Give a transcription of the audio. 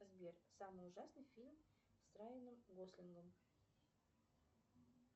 сбер самый ужасный фильм с райаном гослингом